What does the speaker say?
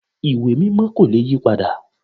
Ìwé Mímọ́ kò le yí padà